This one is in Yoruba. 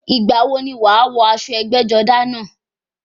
Ìgbà wo ni wàá wọ aṣọ ẹgbẹ́-jọdá náà?